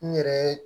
N yɛrɛ ye